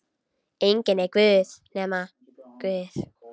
Enginn er guð nema Guð.